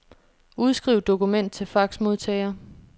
Udskriv dokument til faxmodtager.